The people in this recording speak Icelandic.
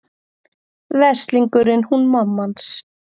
Veslingurinn hún mamma hans.